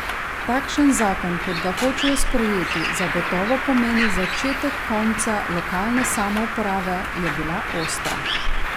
Takšen zakon, kot ga hočejo sprejeti, zagotovo pomeni začetek konca lokalne samouprave, je bila ostra.